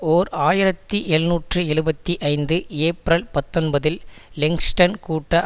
ஓர் ஆயிரத்தி எழுநூற்று எழுபத்தி ஐந்து ஏப்ரல் பத்தொன்பதில் லெக்சிங்டன் கூட்ட